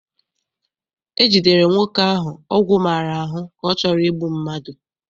E jidere nwoke ahụ ọgwụ maara ahụ ka ọ chọrọ igbu mmadụ.